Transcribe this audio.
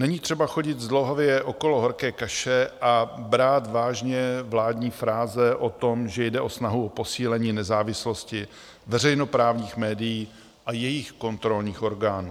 Není třeba chodit zdlouhavě okolo horké kaše a brát vážně vládní fráze o tom, že jde o snahu o posílení nezávislosti veřejnoprávních médií a jejich kontrolních orgánů.